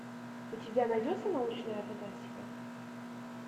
у тебя найдется научная фантастика